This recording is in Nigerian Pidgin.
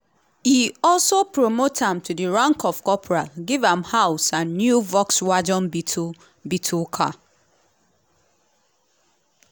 e also promote am to di rank of corporal give am house and new volkswagen beetle beetle car.